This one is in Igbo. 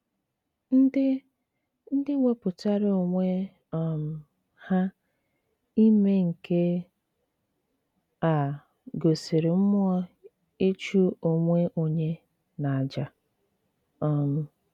Ndị Ndị wepụtara onwe um ha ime nke a gosiri mmụọ ịchụ onwe onye n’àjà um.